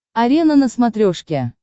арена на смотрешке